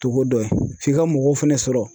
Togo dɔ ye , f'i ka mɔgɔw fɛnɛ sɔrɔ